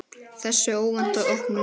Þessi óvænta opnun